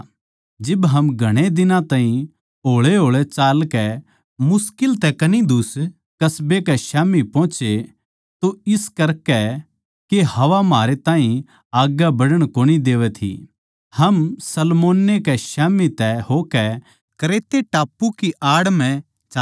जिब हम घणे दिनां ताहीं होळेहोळे चालकै मुश्किल तै कनिदुस कस्बे कै स्याम्ही पोहोचे तो इस करकै के हवा म्हारै ताहीं आग्गै बढ़ण कोनी देवै थी हम सलमोने कै स्याम्ही तै होकै क्रेते टापू की आड़ म्ह चाल्ले